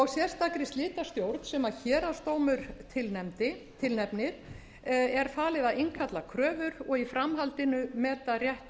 sérstakri slitastjórn sem héraðsdómur tilnefnir er falið að innkalla kröfur og í framhaldinu meta rétt